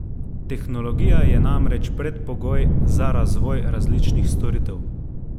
Tehnologija je namreč predpogoj za razvoj različnih storitev.